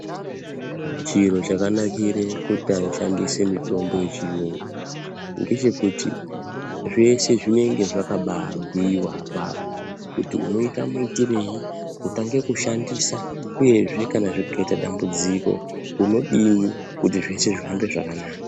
Chiro chakanakire kushandisa mitombo yechiyungu ngechekuti zveshe zvinenge zvakababhuiwa apapo. Kuti unoita muitirei kutanga kushandisa uyezve zvikaita dambudziko unodini kuti zveshe zvihambe zvakanaka.